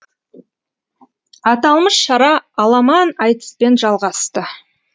аталмыш шара аламан айтыспен жалғасты